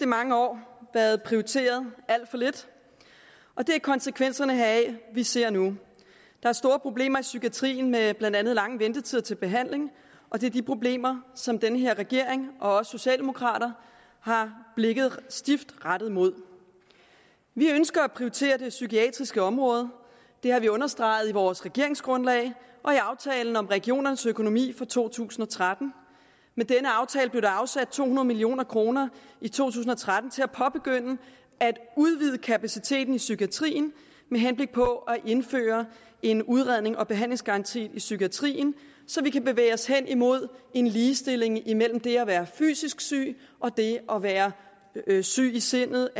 mange år været prioriteret alt for lidt og det er konsekvenserne heraf vi ser nu der er store problemer i psykiatrien med blandt andet lange ventetider til behandling og det er de problemer som den her regering og socialdemokrater har blikket stift rettet mod vi ønsker at prioritere det psykiatriske område det har vi understreget i vores regeringsgrundlag og i aftalen om regionernes økonomi for to tusind og tretten med denne aftale blev der afsat to hundrede million kroner i to tusind og tretten til at påbegynde at udvide kapaciteten i psykiatrien med henblik på at indføre en udrednings og behandlingsgaranti i psykiatrien så vi kan bevæge os henimod en ligestilling imellem det at være fysisk syg og det at være syg i sindet